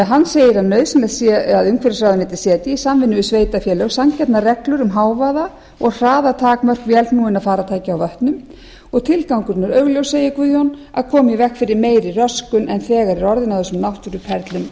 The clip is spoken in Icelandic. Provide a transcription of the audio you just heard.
hann segir að nauðsynlegt sé að umhverfisráðuneytið setji í samvinnu við sveitarfélög sanngjarnar reglur um hávaða og hraðatakmörk vélknúinna farartækja á vötnum og tilgangurinn er augljós segir guðjón að koma í veg fyrir meiri röskun en þegar er orðin á þessum náttúruperlum